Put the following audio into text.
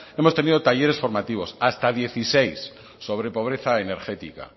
hemos tenido talleres formativos hasta dieciséis sobre pobreza energética